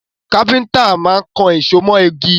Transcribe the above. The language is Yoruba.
Káfíntà má kan èso mọ igi